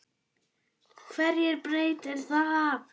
HVERJU BREYTIR ÞAÐ?